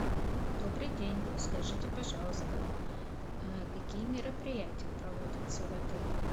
добрый день скажите пожалуйста какие мероприятия проводятся в отеле